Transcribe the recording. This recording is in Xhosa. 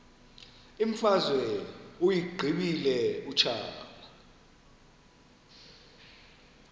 imfazwe uyiqibile utshaba